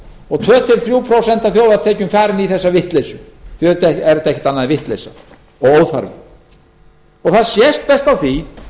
og tvö til þrjú prósent af þjóðartekjum farin í þessa vitleysu auðvitað er þetta ekkert annað en vitleysa og óþarfi það sést best á því